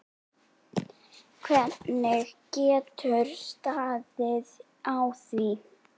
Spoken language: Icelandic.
Hvernig getur staðið á því.